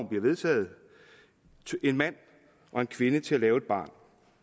bliver vedtaget en mand og en kvinde til at lave et barn